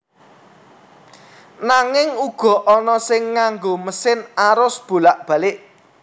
Nanging uga ana sing nganggo mesin arus bolak balik